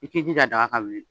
I k'i jija daga ka wili